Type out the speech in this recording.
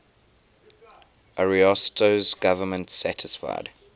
ariosto's government satisfied